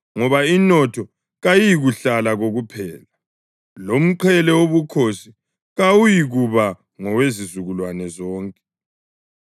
ngoba inotho kayiyikuhlala kokuphela, lomqhele wobukhosi kawuyikuba ngowezizukulwane zonke.